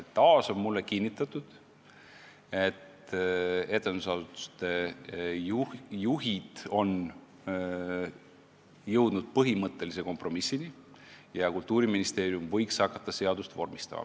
Nüüd on mulle taas kinnitatud, et etendusasutuste juhid on jõudnud põhimõttelise kompromissini ja Kultuuriministeerium võiks hakata seaduseelnõu vormistama.